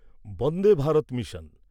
Vande Bharat mission